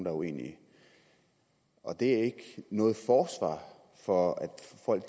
er uenig i og det er ikke noget forsvar for